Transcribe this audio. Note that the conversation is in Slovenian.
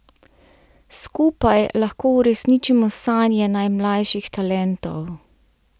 Skupaj lahko uresničimo sanje najmlajših talentov!